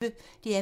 DR P1